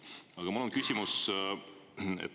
Aga mul on küsimus.